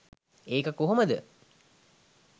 ඒක කොහොමද